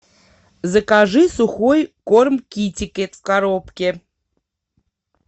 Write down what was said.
закажи сухой корм китекет в коробке